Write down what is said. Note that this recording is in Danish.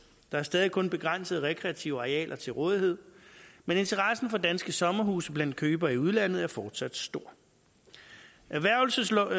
der er stadig kun begrænsede rekreative arealer til rådighed men interessen for danske sommerhuse blandt købere i udlandet er fortsat stor erhvervelseslovens